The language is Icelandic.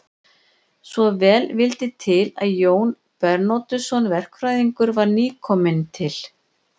Svo vel vildi til að Jón Bernódusson verkfræðingur var nýkominn til